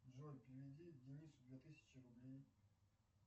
джой переведи денису две тысячи рублей